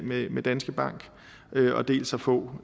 med danske bank og dels at få